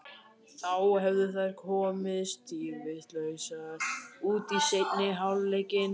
Þá hefðu þær komið dýrvitlausar út í seinni hálfleikinn.